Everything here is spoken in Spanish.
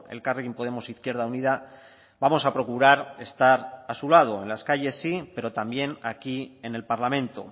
elkarrekin podemos izquierda unida vamos a procurar estar a su lado en las calles sí pero también aquí en el parlamento